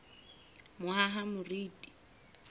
mohahamoriti